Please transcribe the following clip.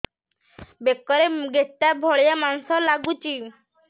ବେକରେ ଗେଟା ଭଳିଆ ମାଂସ ଲାଗୁଚି